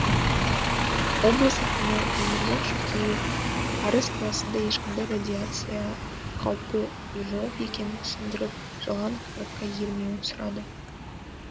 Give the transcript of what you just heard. облыс әкімі өмірзақ шөкеев арыс қаласында ешқандай радиация қаупі жоқ екенін түсіндіріп жалған ақпаратқа ермеуін сұрады